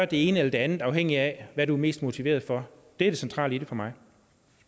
det ene eller det andet afhængigt af hvad vedkommende er mest motiveret for det er det centrale i det for mig